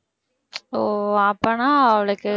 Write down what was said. ஓ அப்பன்னா அவளுக்கு